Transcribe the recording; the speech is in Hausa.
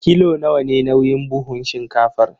Kilo nawa ne nauyin buhun shinkafar?